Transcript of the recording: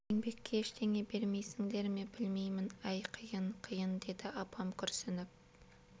еңбекке ештеңе бермейсіңдер ме білмеймін әй қиын қиын дейді апам күрсініп